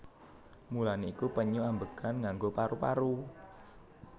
Mulané iku penyu ambegan nganggo paru paru